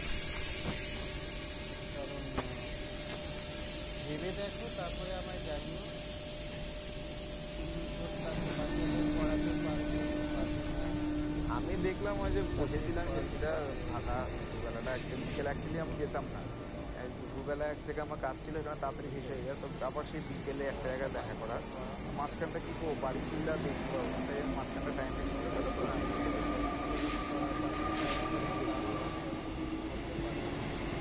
দুপুরবেলা এক জায়গায় আমার কাজ ছিল ওখানে তাড়াতাড়ি শেষ হয়ে যায় তারপরে সেই বিকেলে এক জায়গায় দেখা করার। মাঝখানটা কি করব বাড়ি ফিরলে আর দেখতে পারবো না তাই আমি মাঝখানটার time টা আমি কি করে কাটাবো না movie টা দেখে আসি। সেই জন্য দেখতে যাওয়া। আমার বাচ্চার তো কিছু করতে পারল না,